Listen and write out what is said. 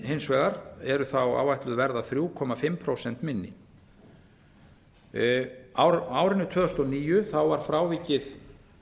hins vegar eru þá áætluð verða þrjú og hálft prósent minni á árinu tvö þúsund og níu var frávikið